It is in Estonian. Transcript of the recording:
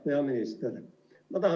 Hea minister!